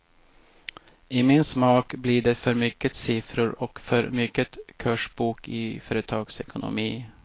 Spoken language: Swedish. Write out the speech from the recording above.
I min smak blir det för mycket siffror och för mycket kursbok i företagsekonomi.